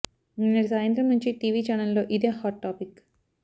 నిన్నటి సాయంత్రం నుంచి టీవీ చానెళ్లలో ఇదే హాట్ టాపిక్